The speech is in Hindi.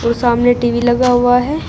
सामने टी_वी लगा हुआ है।